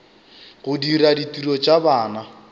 go dira ditiro tša bana